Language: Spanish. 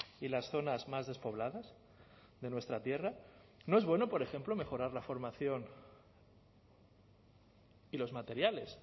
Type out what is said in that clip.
y las zonas más despobladas de nuestra tierra no es bueno por ejemplo mejorar la formación y los materiales